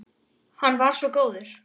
Hann var svo góður.